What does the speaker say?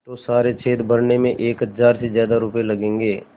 तो सारे छेद भरने में एक हज़ार से ज़्यादा रुपये लगेंगे